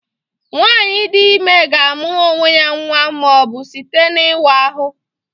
Nwaanyị dị ime ga-amụrụ onwe ya nwa ma ọ bụ site n'ịwa ahụ